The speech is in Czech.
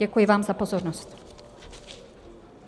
Děkuji vám za pozornost.